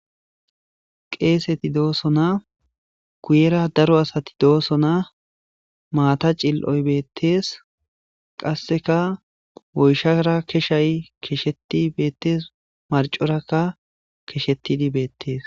qeeseti dooso na kuyera daro asati dooso na maata cil7oy bettees qasseka woyshara keshay kesheti beettees marcorakka keshettidi beettees